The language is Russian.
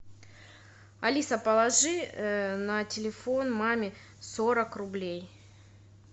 алиса положи на телефон маме сорок рублей